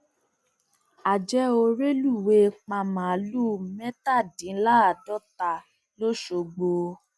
àjẹ ò rélùwéè pa màálùú mẹtàdínláàádọta lọṣọgbó